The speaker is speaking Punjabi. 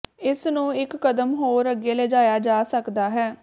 ਇਸ ਨੂੰ ਇਕ ਕਦਮ ਹੋਰ ਅੱਗੇ ਲਿਜਾਇਆ ਜਾ ਸਕਦਾ ਹੈ